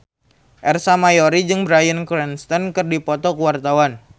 Ersa Mayori jeung Bryan Cranston keur dipoto ku wartawan